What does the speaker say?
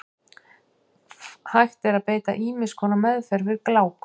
Hægt er að beita ýmiss konar meðferð við gláku.